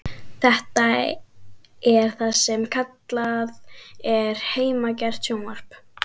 Þetta er það sem kallað er heimagert sjónvarp.